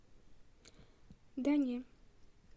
да не